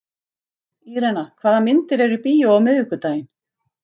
Irena, hvaða myndir eru í bíó á miðvikudaginn?